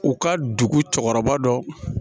U ka dugu cɛkɔrɔba dɔ